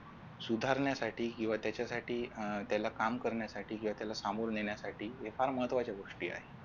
सुधारण्यासाठी किंवा त्याच्यासाठी त्याला काम करण्यासाठी किंवा त्याला समोर नेण्यासाठी या फार महत्वाच्या गोष्टी आहेत.